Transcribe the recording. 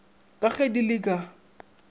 ka ge di le ka